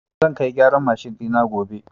Zan kai gyaran mashin ɗina gobe.